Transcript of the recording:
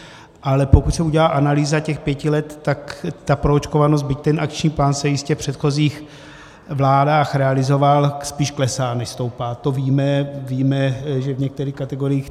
Ale pokud se udělá analýza těch pěti let, tak ta proočkovanost, byť ten akční plán se jistě v předchozích vládách realizoval, spíš klesá, než stoupá, to víme, víme, že v některých kategoriích.